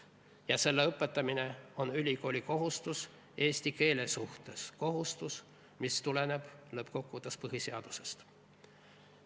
Ja selle õpetamine on ülikooli kohustus eesti keele suhtes – kohustus, mis tuleneb lõppkokkuvõttes põhiseadusest.